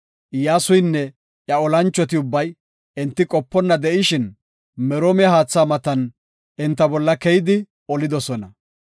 Iyyasuynne iya olanchoti ubbay enti qoponna de7ishin Meroome haatha matan enta bolla keyidi olidosona.